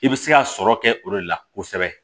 I bɛ se ka sɔrɔ kɛ o de la kosɛbɛ